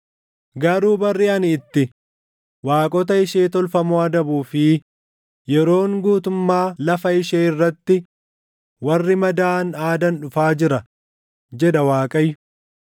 “Garuu barri ani itti, waaqota ishee tolfamoo adabuu fi yeroon guutummaa lafa ishee irratti warri madaaʼan aadan dhufaa jira” jedha Waaqayyo.